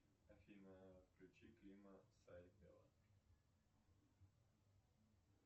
афина включи клим сайбель